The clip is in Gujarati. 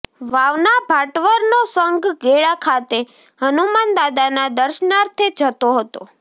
વાવના ભાટવરનાે સંઘ ગેળા ખાતે હનુમાન દાદાના દર્શનાર્થે જતો હતો